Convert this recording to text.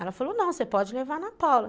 Ela falou, não, você pode levar a Ana Paula.